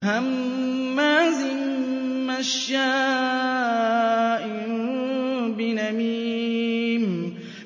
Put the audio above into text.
هَمَّازٍ مَّشَّاءٍ بِنَمِيمٍ